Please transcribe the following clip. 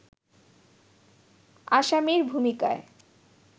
আসামির ভূমিকায়